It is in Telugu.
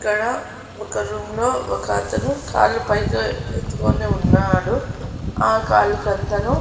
ఇక్కడ ఒక రూమ్ లో ఒక అతను కాళ్ళు పైకి ఎత్తుకొని ఉన్నాడు ఆ కాలు --